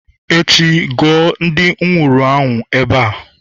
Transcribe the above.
echi, guo ndi nwuru anwu ebe a!